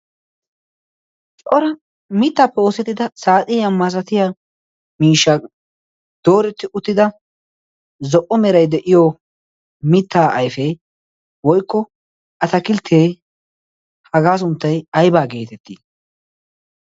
cora mittaappe oosettida saaxia masatiya miishsha dooretti uttida zo'o merai de'iyo mittaa yifee woikko atakilttee hagaa sunttai aibaa geetettii?